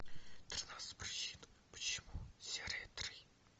тринадцать причин почему серия три